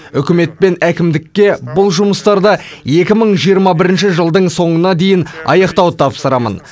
үкімет пен әкімдікке бұл жұмыстарды екі мың жиырма бірінші жылдың соңына дейін аяқтауды тапсырамын